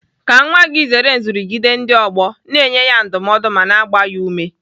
Ka nwa gị zere nrụgide ndị ọgbọ, na-enye ya ndụmọdụ ma na-agba ya ume